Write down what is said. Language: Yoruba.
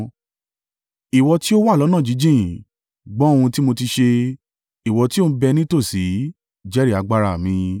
Ìwọ tí ó wà lọ́nà jíjìn, gbọ́ ohun tí mo ti ṣe; ìwọ tí ò ń bẹ nítòsí, jẹ́rìí agbára mi!